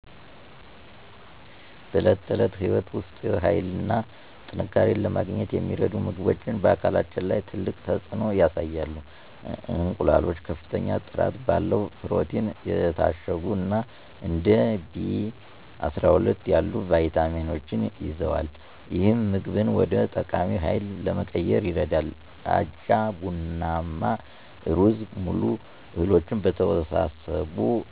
በዕለት ተዕለት ሕይወት ውስጥ ኃይልን እና ጥንካሬን ለማግኘት የሚረዱ ምግቦች በአካላችን ላይ ትልቅ ተፅዕኖ ያሳያሉ። እንቁላሎች ከፍተኛ ጥራት ባለው ፕሮቲን የታሸጉ እና እንደ ቢ12 ያሉ ቪታሚኖችን ይዘዋል፣ ይህም ምግብን ወደ ጠቃሚ ሃይል ለመቀየር ይረዳል። አጃ፣ ቡናማ ሩዝ - ሙሉ እህሎች በተወሳሰቡ